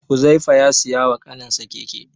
Huzaifa ya siya wa kaninsa keke.